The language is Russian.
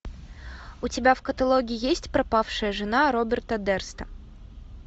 у тебя в каталоге есть пропавшая жена роберта дерста